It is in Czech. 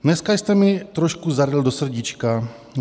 Dneska jste mi trošku zaryl do srdíčka.